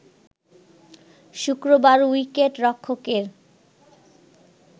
শুক্রবার উইকেট রক্ষকের